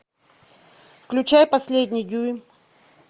включай последний дюйм